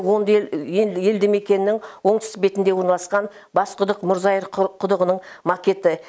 оңды елді мекеннің оңтүстік бетінде орналасқан басқұдық мұрзай құдығының макеті